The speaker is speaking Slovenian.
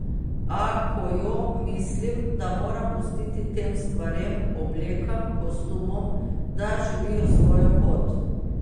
A, ko jo, mislim, da moram pustiti tem stvarem, oblekam, kostumom, da živijo svojo pot.